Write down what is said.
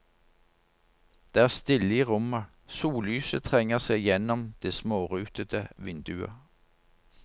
Det er stille i rommet, sollyset trenger seg gjennom det smårutete vinduet.